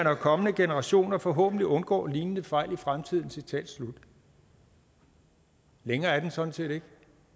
og kommende generationer forhåbentlig undgår lignende fejl i fremtiden citat slut længere er den sådan set ikke